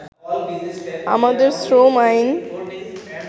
“আমাদের শ্রম আইন